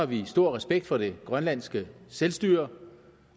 vi stor respekt for det grønlandske selvstyre